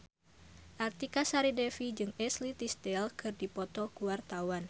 Artika Sari Devi jeung Ashley Tisdale keur dipoto ku wartawan